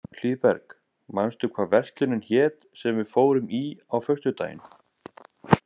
Hlíðberg, manstu hvað verslunin hét sem við fórum í á föstudaginn?